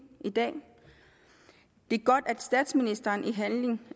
i dag det er godt at statsministeren i handling